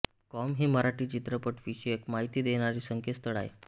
com हे मराठी चित्रपट विषयक माहिती देणारे संकेतस्थळ आहे